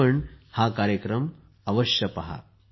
तुम्ही पण हा कार्यक्रम अवश्य पहा